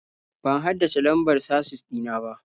Ban haddace lambar casis ɗina ba.